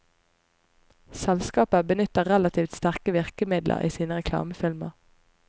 Selskapet benyttet relativt sterke virkemidler i sine reklamefilmer.